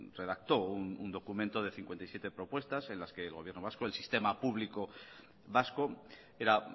redactó un documento de cincuenta y siete propuestas en las que el gobierno vasco el sistema público vasco era